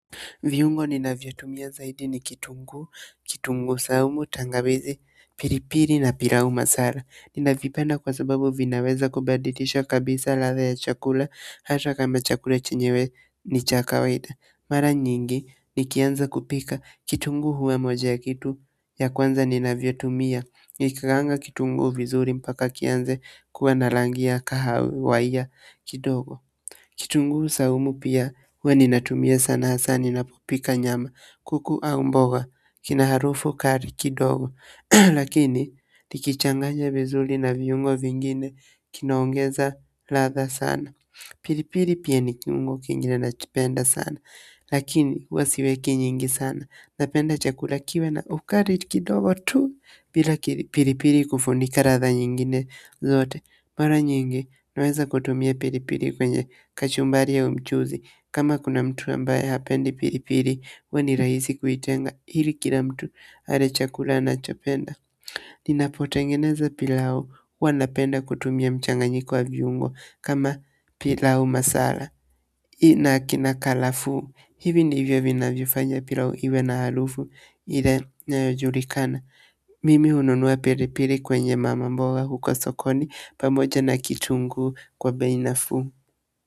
Viungo ninavyotumia zaidi ni kitunguu, kitunguu, saumu, tangawizi, piripiri na pilau masala. Ninavipenda kwa sababu vinaweza kubadilisha kabisa ladha ya chakula hata kama chakula chenyewe ni cha kawaida mara nyingi nikianza kupika, kitunguu huwa moja ya kitu ya kwanza ninavyotumia. Nikikaanga kitungu vizuri mpaka kianze kuwa na rangi ya kahawia kidogo. Kitungu saumu pia huwa ninatumia sana hasa ninapopika nyama kuku au mboga kina harufu kali kidogo lakini nikichanganya vizuri na viungo vingine kinaongeza ladha sana pilipili pia ni kiungo kingine nakipenda sana lakini huwa siweki nyingi sana napenda chakula kiwe na ukali kidogo tu bila pilipili kufunika ladha nyingine zote mara nyingi naweza kutumia pilipili kwenye kachumbari au mchuzi kama kuna mtu ambaye hapendi pilipili huwa ni rahisi kuitenga ili kila mtu ale chakula anachopenda. Ninapotengeneza pilau huwa napenda kutumia mchanganyiko wa viungo kama pilau masala. Hii na kinakaa nafuu hivi ndivyo vinavyofanya pilau iwe na harufu ile inayojulikana. Mimi hununua pilipili kwenye mama mboga huko sokoni pamoja na kitungu kwa bei nafuu.